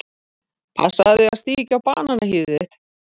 Passaðu þig að stíga ekki á bananahýðið þitt.